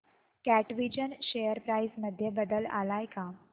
कॅटविजन share price मध्ये बदल आलाय का